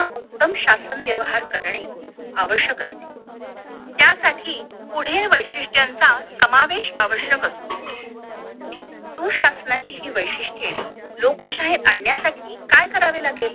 उत्तम शासन व्यवहार करणे आवश्यक असते त्यासाठी पुढील वैशिष्ठ्यांचा समावेश आवश्यक असतो सुशाशनाची हि वैशिष्ठ्ये लोकशाही आणण्यासाठी काय करावे लागेल